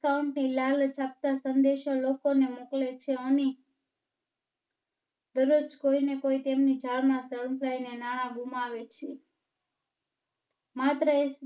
ની લાલચ આપતા સંદેશો લોકો ને મોકલે છે અને દરરોજ કોઈ ને કોઈ તેમની ધારણા ને નાણાં ગુમાવે છે. માત્ર એક